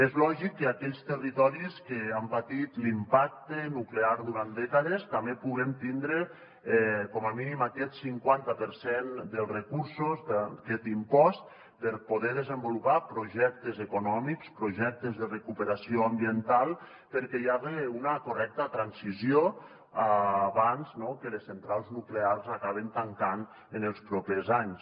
és lògic que aquells territoris que han patit l’impacte nuclear durant dècades també puguem tindre com a mínim aquest cinquanta per cent dels recursos d’aquest impost per poder desenvolupar projectes econòmics projectes de recuperació ambiental perquè hi haja una correcta transició abans no que les centrals nuclears acaben tancant en els propers anys